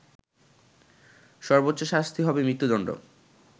সর্বোচ্চশাস্তি হবে মৃত্যুদণ্ড